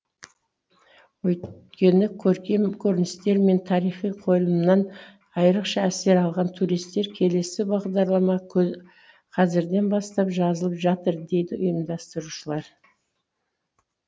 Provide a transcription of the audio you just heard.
өйткені көркем көріністер мен тарихи қойылымнан айрықша әсер алған туристер келесі бағдарлама қазірден бастап жазылып жатыр дейді ұйымдастырушылар